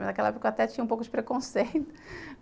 Mas naquela época, eu até tinha um pouco de preconceito